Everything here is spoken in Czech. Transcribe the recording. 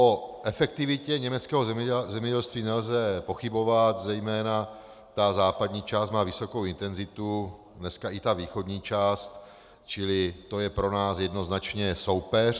O efektivitě německého zemědělství nelze pochybovat, zejména ta západní část má vysokou intenzitu, dnes i ta východní část, čili to je pro nás jednoznačně soupeř.